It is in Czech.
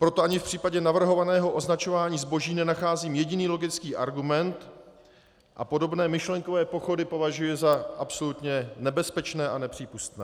Proto ani v případě navrhovaného označování zboží nenacházím jediný logický argument a podobné myšlenkové pochody považuji za absolutně nebezpečné a nepřípustné.